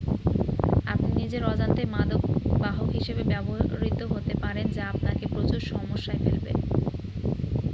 আপনি নিজের অজান্তেই মাদক বাহক হিসাবে ব্যবহৃত হতে পারেন যা আপনাকে প্রচুর সমস্যায় ফেলবে